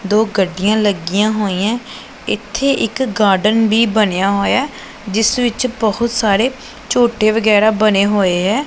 ਦੋ ਗੱਡੀਆਂ ਲੱਗੀਆਂ ਹੋਈਆਂ ਇੱਥੇ ਇੱਕ ਗਾਰਡਨ ਵੀ ਬਨਿਆ ਹੋਇਆ ਹੈ ਜਿੱਸ ਵਿੱਚ ਬਹੁਤ ਸਾਰੇ ਝੂਟੇਂ ਵਗੈਰਾ ਬਣੇ ਹੋਏ ਹੈਂ।